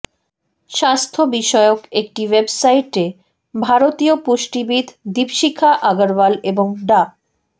স্বাস্থ্যবিষয়ক একটি ওয়েবসাইটে ভারতীয় পুষ্টিবিদ দিপশিখা আগারওয়াল এবং ডা